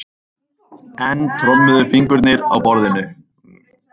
Enn trommuðu fingurnir á borðinu.